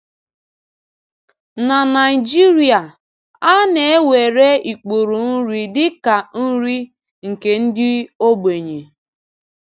N’Naịjíríà, a na-ewere ikpuru nri dị ka nri nke ndị ogbenye.